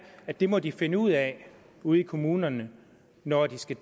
at det må de finde ud af ude i kommunerne når de skal